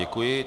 Děkuji.